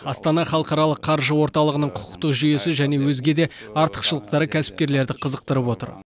астана халықаралық қаржы орталығының құқықтық жүйесі және өзге де артықшылықтары кәсіпкерлерді қызықтырып отыр